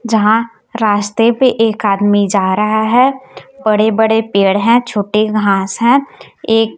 जहां रास्ते पे एक आदमी जा रहा है बड़े बड़े पेड़ हैं छोटे घास हैं एक--